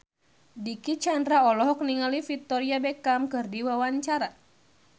Dicky Chandra olohok ningali Victoria Beckham keur diwawancara